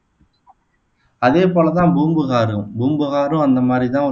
அதேபோல தான் பூம்புகாரும், பூம்புகாரும் அந்த மாதிரி தான்